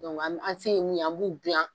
Dɔnku an an se mun an b'u dilan.